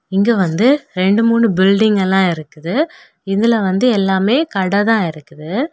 இங்க வந்து ரெண்டு மூணு பில்டிங் எல்லா இருக்குது இதுல வந்து எல்லாமே கடை தான் இருக்குது.